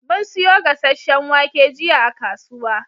Mun siyo gasashen wake jiya a kasuwa